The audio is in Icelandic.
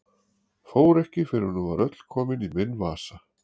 Fór ekki fyrr en hún var öll komin í minn vasa.